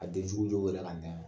A denjugu jo wele ka na yan